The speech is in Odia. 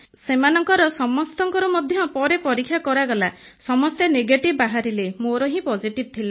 ସେମାନଙ୍କର ସମସ୍ତଙ୍କର ମଧ୍ୟ ପରେ ପରୀକ୍ଷା କରାଗଲା ସମସ୍ତେ ନେଗେଟିଭ୍ ବାହାରିଲେ ମୋର ହିଁ ପୋଜିଟିଭ୍ ଥିଲା